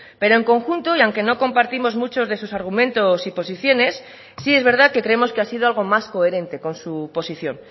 pero en conjunto y aunque no compartimos muchos de sus argumentos y posiciones sí es verdad que creemos que ha sido algo más coherente con su posición